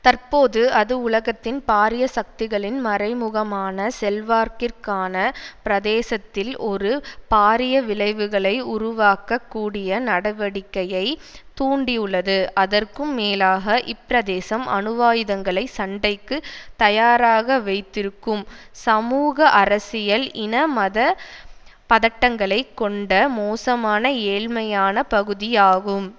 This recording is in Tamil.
தற்போது அது உலகத்தின் பாரிய சக்திகளின் மறைமுகமான செல்வாக்கிற்கான பிரதேசத்தில் ஒரு பாரிய விளைவுகளை உருவாக்கக் கூடிய நடவடிக்கையை தூண்டியுள்ளது அதற்கும் மேலாக இப்பிரதேசம் அணுவாயுதங்களை சண்டைக்கு தயாராக வைத்திருக்கும் சமூக அரசியல் இன மத பதட்டங்களை கொண்ட மோசமான ஏழ்மையான பகுதியாகும்